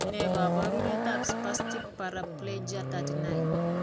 Ne kaabarunetap Spastic paraplegia 39?